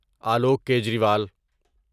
Alok Kejriwal